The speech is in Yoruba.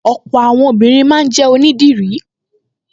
Ọ̀pọ̀ àwọn obìnrin máa ń jẹ́ onídìrí